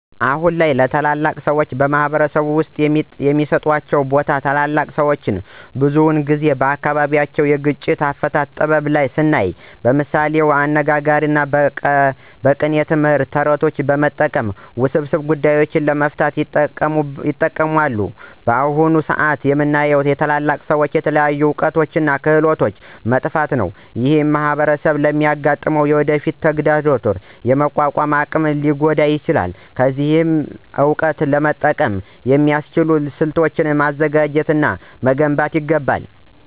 አሁን ላይ ታላላቅ ሰዎች በማኅበረሰብ ውስጥ የሚሰጣቸው ቦታ ታላላቅ ሰዎች ብዙውን ጊዜ በአካባቢያቸው የግጭት አፈታት ጥበብ ስናይ በምሳሌያዊ አነጋግሮች እና በቅኔ ትምህርት፣ ተረቶችን በመጠቀም ውስብስብ ጉዳዮችን ለመፍታት ይጠቀማሉ። በአሁን ሰአት የምናየው የታላላቅ ሰዎች የተለያዩ እውቀቶች እና ክህሎቶች መጥፋት ነው። ይህ ማኅበረሰቡ ለሚያጋጥመው የወደፊት ተግዳሮት የመቋቋም አቅሙን ሊጎዳ ይችላል። ስለዚህ ይህን እውቀት ለመጠበቅ የሚያስችሉ ስልቶችን ማዘጋጀት እና መገንባት ይገባል።